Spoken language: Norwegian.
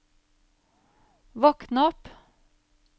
våkn opp